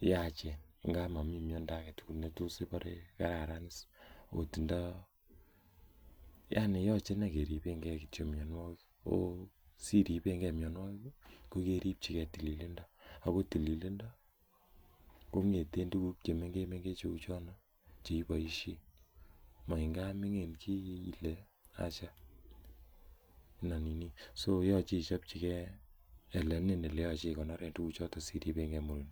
yachen ngap momii miandoo agetugul netos ibore kararan iis ot indoo, yani yoche keripengee kityok inei mianwogik, ooh siripengee mianwogik kokeripchikee mianwogik kokeripchike mianwogik kokeripchike tililindoo, akoo tililindo kong'eten tuguk chemengechen cheu chon cheiboisien maa ngap ming'in chii ile acha ina nini, so yoche ichopchikee olenin eleyoche ikonoren tuguchoton siribengee murindo.